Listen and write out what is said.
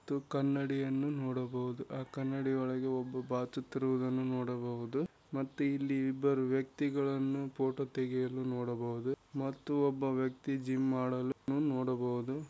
ತು ಕನ್ನಡಿಯನ್ನು ನೋಡಬಹುದು ಆ ಕನ್ನಡಿಯೊಳಗೆ ಒಬ್ಬ ಬಾಚುತಿರುವುದನ್ನು ನೋಡಬಹುದು ಮತ್ತು ಇಲ್ಲಿ ಇಬ್ಬರು ವ್ಯಕ್ತಿಗಳು ಪೋಟೋ ತೆಗೆಯುವುದು ನೋಡಬಹುದು ಮತ್ತು ಒಬ್ಬ ವ್ಯಕ್ತಿ ಜಿಮ್‌ ಮಾಡಲನು ನೋಡಬಹುದು.